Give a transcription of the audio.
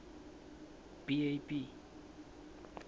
b a b